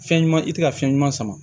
Fɛn ɲuman i tɛ ka fɛn ɲuman sama